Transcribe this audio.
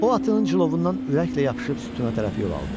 O atının cilovundan ürəklə yapışıb sütuna tərəf yol aldı.